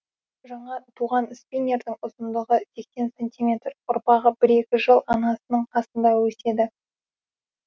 жаңа туған спиннердің ұзындығы сексен сантиметр ұрпағы бір екі жыл анасының қасында өседі